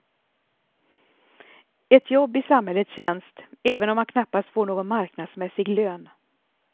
Ett jobb i samhällets tjänst även om han knappast får någon marknadsmässig lön.